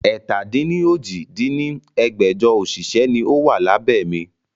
ẹ̀ta-dín-ní-ojì dín ní ẹgbẹ́jọ òṣìṣẹ́ ni ó wà lábẹ́ mi